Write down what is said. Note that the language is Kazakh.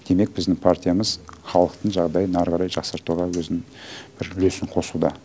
демек біздің партиямыз халықтың жағдайын әрі қарай жақсартуға өзінің бір үлесін қосуда